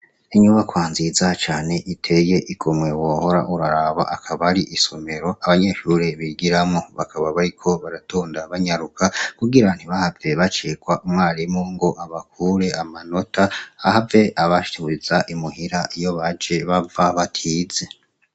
Inyubakwa nziza cane iteye igomwe wohora uraraba akaba ari isomero abanyeshure bigiramwo , bakaba bariko baratonda banyaruka kugira ntibahave bacererwa umwarimu ngo abakure amanota, ahave abasubiza I muhira iyo baje bava batize.